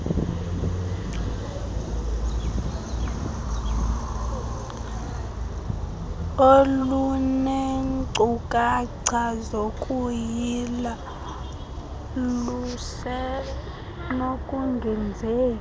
olunenkcukacha zokuyila lusenokungenzeki